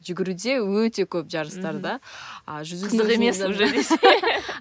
жүгіруде өте көп жарыстар да